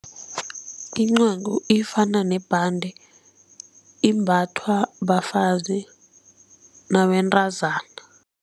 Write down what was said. Incagu ifana nebhande, imbathwa bafazi nabentazana